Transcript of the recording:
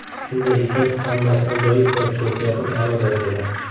Shunday ekan, hammasi ajoyib va kayfiyatim a’lo darajada.